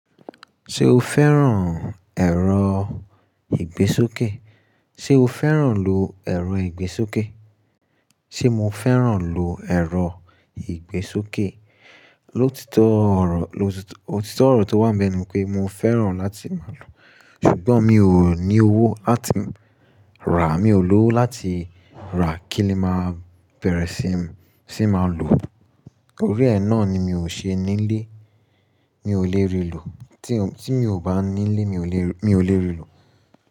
Ṣé o fẹ́ràn ẹ̀rọ ìgbésókè? Sé o fẹ́ràn lò ẹ̀rọ ìgbésókè? Sé mo fẹ́ràn lò ẹ̀rọ ìgbésókè? Lotito oro ótítọ ọ̀rọ̀ tó wà nbẹ̀ ni pé mo fẹ́ràn láti máa lò, ṣùgbọ́n mi ò ní owó láti rà, mio lowó láti rà kín le máa bẹ̀rẹ̀ sí, sí máa lò. Ori ẹ náà ni mi ò ṣe nílé, mi ò lè rí lò. Tí mi ò bá nílé mi ò lè, mi ò lè rí lò.